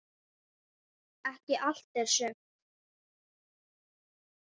Ekki allt, en sumt.